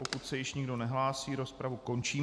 Pokud se již nikdo nehlásí, rozpravu končím.